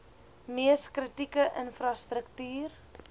mees kritieke infrastruktuur